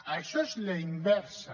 això és la inversa